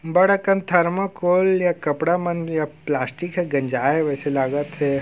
बड़ अकन थर्माकोल या कपड़ा मन या प्लास्टिक ह गंजाये हे वैसे लागा थे।